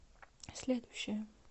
следующая